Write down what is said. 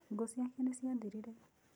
Ngũ ciake nĩ ciathirire.